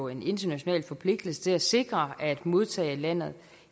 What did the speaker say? en international forpligtelse til at sikre at modtagerlandet